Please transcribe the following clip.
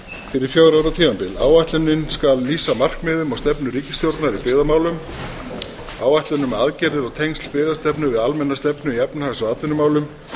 fyrir fjögurra ára tímabil áætlunin skal lýsa markmiðum og stefnu ríkisstjórnar í byggðamálum áætlun um aðgerða og tengsl byggðastefnu við almenna stefnu í efnahags og atvinnumálum